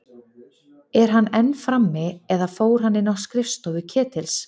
Er hann enn frammi- eða fór hann inn á skrifstofu Ketils?